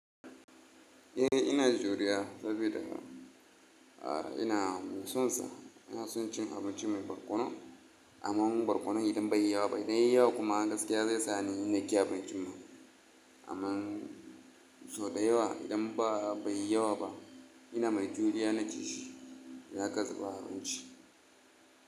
Eh ina juriya saboda ina son sa, ina son cin abincin mai barkono. Amman barkono idan bai yi yawa ba, idan yayi yawa kuma gaskiya zai sa ni in hakka abincin man. Amman sau da yawa idan ba bai yi yawa ba ina mai juriya na ci shi, iidan akazuba a abinci.